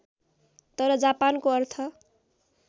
तर जापानको अर्थ